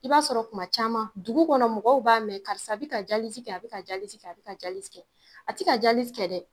I b'a sɔrɔ kuma caman dugu kɔnɔ mɔgɔw b'a mɛn karisa bi ka jalizi kɛ a bi ka jalizi kɛ a bi ka jalizi kɛ a ti ka jalizi kɛ dɛ